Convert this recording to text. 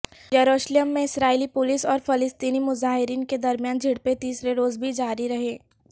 یروشلم میں اسرائیلی پولیس اور فلسطینی مظاہرین کے درمیان جھڑپیں تیسرے روز بھی جاری رہیں